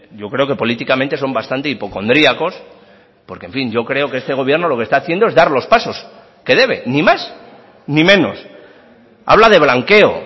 yo creo que políticamente son bastante hipocondriacos porque en fin yo creo que este gobierno lo que está haciendo es dar los pasos que debe ni más ni menos habla de blanqueo